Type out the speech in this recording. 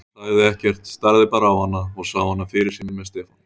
En hann sagði ekkert, starði bara á hana og sá hana fyrir sér með Stefáni.